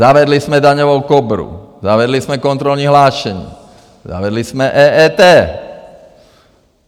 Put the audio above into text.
Zavedli jsme Daňovou Kobru, zavedli jsme kontrolní hlášení, zavedli jsme EET.